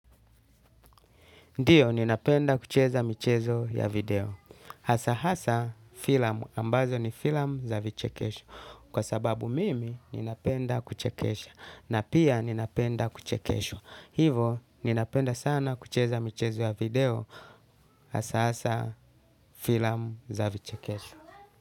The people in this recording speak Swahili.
Ndiyo, ninapenda kucheza michezo ya video. Hasa hasa, filamu ambazo ni filamu za vichekesho. Kwa sababu mimi, ninapenda kuchekesha. Na pia ninapenda kuchekeshwa. Hivo, ninapenda sana kucheza michezo ya video. Asahasa, filamu za vichekesho.